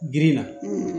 Girin na